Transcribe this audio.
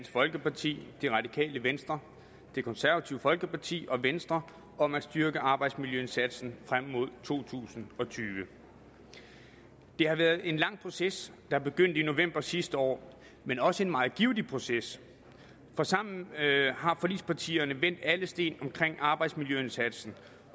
folkeparti det radikale venstre det konservative folkeparti og venstre om at styrke arbejdsmiljøindsatsen frem mod to tusind og tyve det har været en lang proces der begyndte i november sidste år men også en meget givtig proces for sammen har forligspartierne vendt alle sten omkring arbejdsmiljøindsatsen